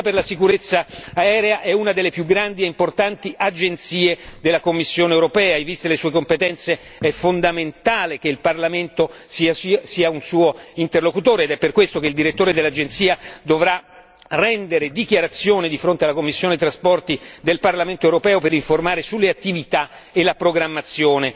L'Agenzia per la sicurezza aerea è una delle più grandi e importanti agenzie della Commissione europea e viste le sue competenze è fondamentale che il Parlamento sia un suo interlocutore ed è per questo che il direttore dell'Agenzia dovrà rendere dichiarazione di fronte alla commissione per i trasporti del Parlamento europeo per informare sulle attività e la programmazione